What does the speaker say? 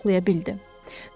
Özünü saxlaya bildi.